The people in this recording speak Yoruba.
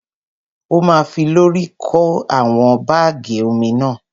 Ó ma fi lọ́rì kó àwọn bágì omi náà.